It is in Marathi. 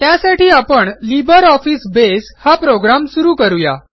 त्यासाठी आपण लिब्रिऑफिस बसे हा प्रोग्रॅम सुरू करू या